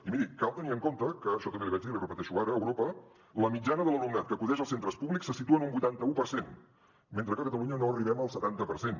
i miri cal tenir en compte que això també l’hi vaig dir l’hi repeteixo ara a europa la mitjana de l’alumnat que acudeix als centres públics se situa en un vuitanta u per cent mentre que a catalunya no arribem al setanta per cent